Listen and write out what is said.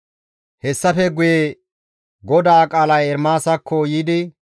Hessafe guye GODAA qaalay Ermaasakko yiidi,